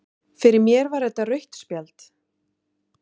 Fyrir mér var þetta rautt spjald